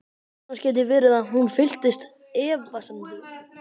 Annars gæti verið að hún fylltist efasemdum.